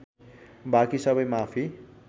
बाँकी सबै माफी